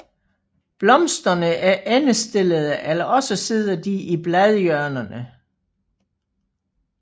Blomsterne er endestillede eller også sidder de i bladhjørnerne